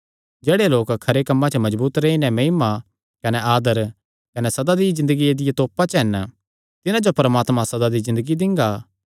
जेह्ड़े लोक खरे कम्मां च मजबूत रेई नैं महिमा कने आदर कने सदा दी ज़िन्दगिया दिया तोपा च हन तिन्हां जो परमात्मा सदा दी ज़िन्दगी दिंगा